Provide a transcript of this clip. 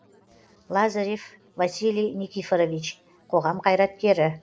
лазарев василий никифорович қоғам қайраткері